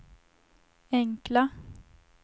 enkla